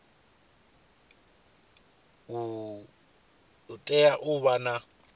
u tea u vha na